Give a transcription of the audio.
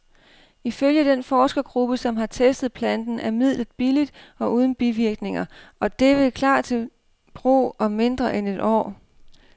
Ifølge den forskergruppe, som har testet planten, er midlet billigt og uden bivirkninger, og det vil klar til brug om mindre end et år.